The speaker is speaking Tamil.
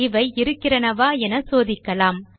இவை இருக்கிறனவா என சோதிக்கலாம்